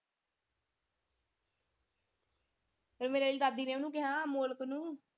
ਫੇਰ ਮੇਰੀ ਆਲੀ ਦਾਦੀ ਨੇ ਓਹਨੂੰ ਕਿਹਾ ਅਮੋਲਕ ਨੂੰ।